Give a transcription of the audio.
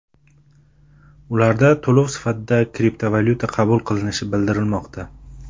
Ularda to‘lov sifatida kriptovalyuta qabul qilinishi bildirilmoqda.